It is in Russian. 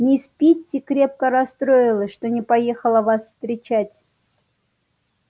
мисс питти крепко расстроилась что не поехала вас встретить